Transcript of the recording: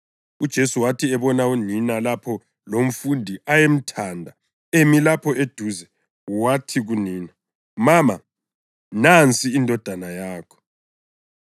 UJesu wathi ebona unina lapho lomfundi ayemthanda emi lapho eduze, wathi kunina, “Mama, nansi indodana yakho,”